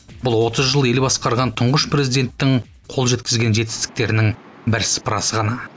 бұл отыз жыл ел басқарған тұңғыш президенттің қол жеткізген жетістіктерінің бір сыпырасы ғана